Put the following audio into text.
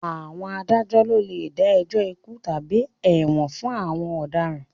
Àwọn adájọ́ ló lè dá ẹjọ́ ikú tàbí ẹ̀wọ̀n fún àwọn ọ̀daràn